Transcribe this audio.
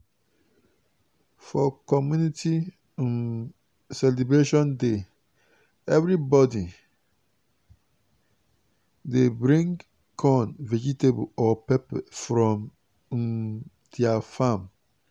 for community um celebration day every body dey bring corn vegetable or pepper from um their farm.